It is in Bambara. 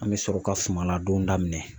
An bɛ sɔrɔ ka suman ladon daminɛ.